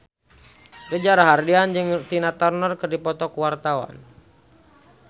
Reza Rahardian jeung Tina Turner keur dipoto ku wartawan